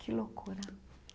Que loucura.